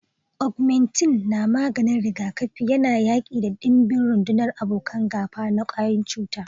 Augmentin na maganin rigakafi yana yaƙi da ɗimbin rundunar abokan gaba na kwayan cuta.